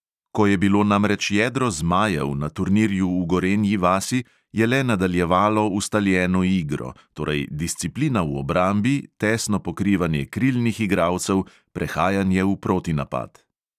Ko je bilo namreč jedro "zmajev" na turnirju v gorenji vasi, je le nadaljevalo ustaljeno igro – torej disciplina v obrambi, tesno pokrivanje krilnih igralcev, prehajanje v protinapad.